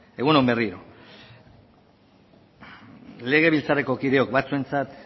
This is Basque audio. egun on berriro legebiltzarreko kideok batzuentzat